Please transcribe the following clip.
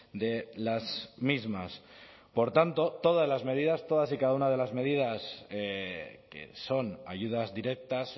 de las mismas por tanto todas las medidas todas y cada una de las medidas que son ayudas directas